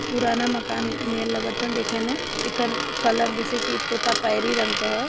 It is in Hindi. पुराना मकान नियर लागता देखे मे एकर कलर जैसे तोता पैरी रंग क ह।